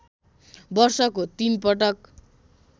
वर्षको ३ पटक